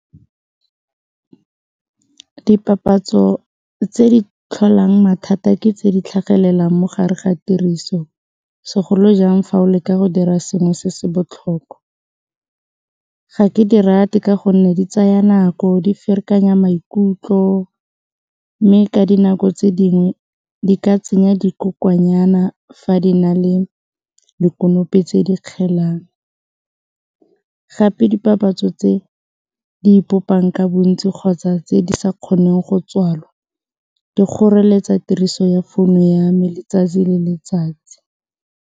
Dipapatso tse di tlholang mathata ke tse di tlhagelelang mo gare ga tiriso segolojang fa o leka go dira sengwe se se botlhokwa, ga ke di rate ka gonne di tsaya nako di ferekanya maikutlo mme ka dinako tse dingwe di ka tsenya dikokwananyana fa di na le dikonopi tse di kgelang, gape dipapatso tse di ipopang ka bontsi kgotsa tse di sa kgoneng go tswalwa di kgoreletsa tiriso ya founu ya me letsatsi le letsatsi.